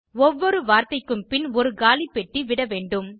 ஒவ்வொரு வார்த்தைக்கும் பின் ஒரு காலி பெட்டி விட வேண்டும்